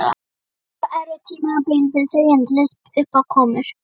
Þetta var erfitt tímabil fyrir þau, endalausar uppákomur.